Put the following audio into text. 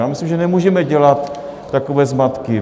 Já myslím, že nemůžeme dělat takové zmatky.